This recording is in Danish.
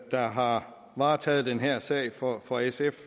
der har varetaget den her sag for for sf